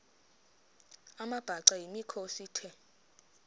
amabhaca yimikhosi the